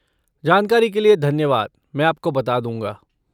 जानकारी के लिए धन्यवाद, मैं आपको बता दूँगा।